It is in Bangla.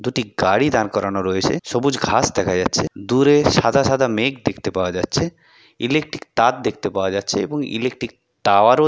দুটি গাড়ি দাঁড় করানো রয়েছে। সবুজ ঘাস দেখা যাচ্ছে। দূরে সাদা সাদা মেঘ দেখতে পাওয়া যাচ্ছে। ইলেকট্রিক তার দেখতে পাওয়া যাচ্ছে এবং ইলেকট্রিক টাওয়ারও --